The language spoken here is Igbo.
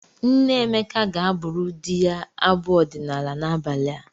Nne Emeka ga-abụrụ di ya abụ ọdịnaala n'abalị a.